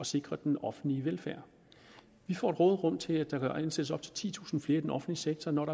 sikre den offentlige velfærd vi får et råderum til at der kan ansættes op til titusind flere i den offentlige sektor når